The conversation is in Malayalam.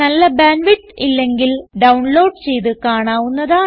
നല്ല ബാൻഡ് വിഡ്ത്ത് ഇല്ലെങ്കിൽ ഡൌൺലോഡ് ചെയ്ത് കാണാവുന്നതാണ്